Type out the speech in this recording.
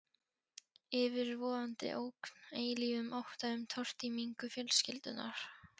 Yfirvofandi ógn, eilífum ótta um tortímingu fjölskyldunnar.